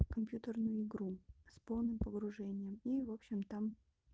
компьютерную игру с полным погружением и в общем там